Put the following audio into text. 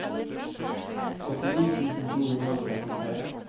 åttini tusen to hundre og trettitre